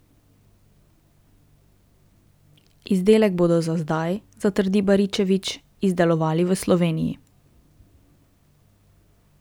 Izdelek bodo za zdaj, zatrdi Baričevič, izdelovali v Sloveniji.